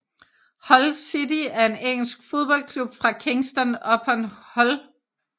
Hull City er en engelsk fodboldklub fra Kingston upon Hull